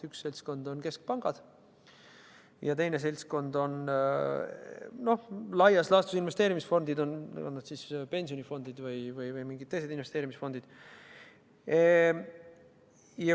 Üks seltskond on keskpangad ja teine seltskond on laias laastus investeerimisfondid, olgu siis pensionifondid või mingid teised investeerimisfondid.